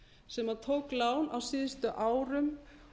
sem tók lán á síðustu árum